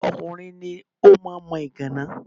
Ọkùnrin ni ó máa ń mọ ìgàná.